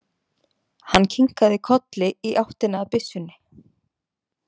Hann kinkaði kolli í áttina að byssunni.